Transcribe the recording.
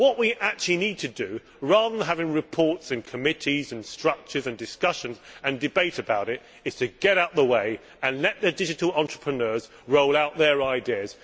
What we need to do, rather than having reports in committees and structures and discussions and debate about it, is to get out of the way and let the digital entrepreneurs roll out their ideas.